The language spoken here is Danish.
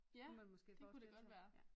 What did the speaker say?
Kunne man måske forestille sig ja